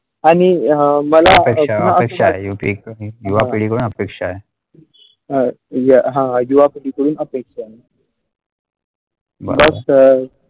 आणि हा मला अपेक्षा अपेक्षा एक युवा पिढ़ी वर अपेक्षा आहे हा युवा पिढ़ीतुन अपेक्षा .